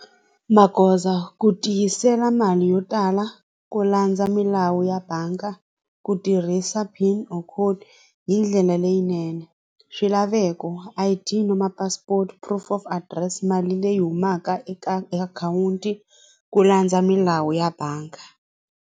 Magoza ku tiyisela mali yo tala ku landza milawu ya bangi ku tirhisa pin or code hi ndlela leyinene swilaveko I_D na passport-o proof of adirese mali leyi humaka eka akhawunti ku landza milawu ya bangi.